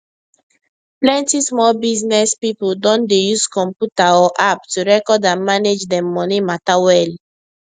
plenty small business people don dey use computer or app to record and manage them money matter well